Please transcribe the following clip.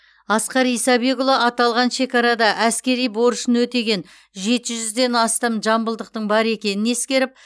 асқар исабекұлы аталған шекарада әскери борышын өтеген жеті жүзден астам жамбылдықтың бар екенін ескеріп